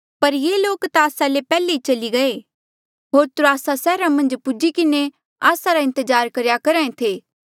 पर ये लोक ता आस्सा ले पैहले ई चली गये होर त्रोआसा सैहरा मन्झ पूजी किन्हें आस्सा रा इंतजार करेया करहा ऐें थे